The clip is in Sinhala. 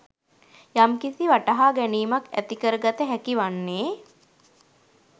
යම්කිසි වටහාගැනීමක් ඇතිකරගත හැකි වන්නේ.